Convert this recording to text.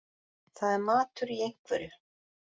Það er matur í einhverju